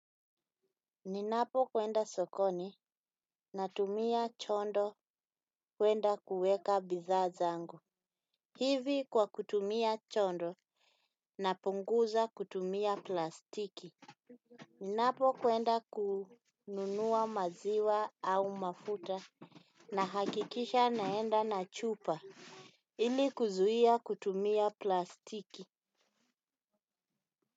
Ninapo kwenda sokoni na tumia chondo kwenda kuweka bidhaa zangu. Hivi kwa kutumia chondo napunguza kutumia plastiki. Ninapo kwenda kununua maziwa au mafuta nahakikisha naenda na chupa ili kuzuhia kutumia plastiki.